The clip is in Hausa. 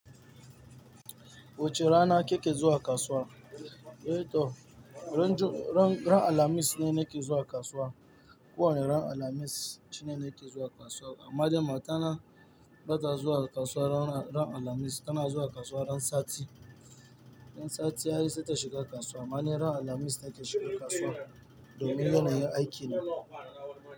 Wuce rana kike zuwa kasuwa, eh to ran jum, ran. Ran alhamis ne nake zuwa kasuwa. Ko wane ran alhamis shine nake zuwa kasuwa. Amma dai matana bata zuwa kasuwa ran alhamis, tana zuwa kasuwa ran sati. Ran sati ai sai ta shiga kasuwa. Amma ni ran alhamis nake shiga kasuwa domin yana yin aikina.